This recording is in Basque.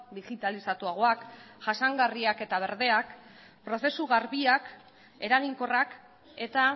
digitalizatuagoak jasangarriak eta berdeak prozesu garbiak eraginkorrak eta